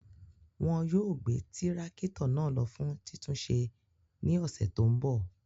Wọn yóò gbe tirakito náà lo fun titunṣe ni ọsẹ to nbọ